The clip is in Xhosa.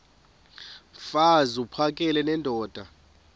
mfaz uphakele nendoda